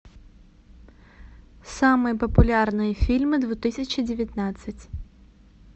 самые популярные фильмы две тысячи девятнадцать